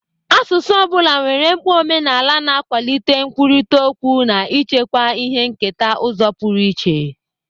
Asụsụ ọ bụla nwere mkpa omenala, na-akwalite nkwurịta okwu na ichekwa ihe nketa n'ụzọ pụrụ iche.